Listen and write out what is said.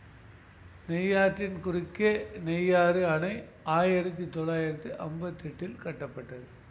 நெய்யாற்றின் குறுக்கே நெய்யாறு அணை ஆயிரத்தி தொள்ளாயிரத்தி அம்பத்தி எட்டில் கட்டப்பட்டது